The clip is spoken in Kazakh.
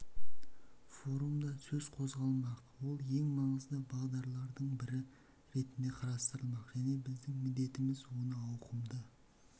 форумда сөз қозғалмақ ол ең маңызды бағдарлардың бірі ретінде қарастырылмақ және біздің міндетіміз оны ауқымды